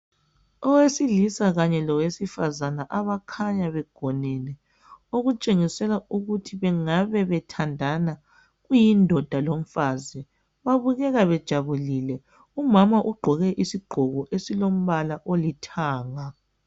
Owesilisa kanye lowesifazana abakhanya begonene okutshengisela ukuthi bengabe bethandana kuyindoda lomfazi. Babukeka bejabulile umama ugqoke isigqoko esilombala olithanga.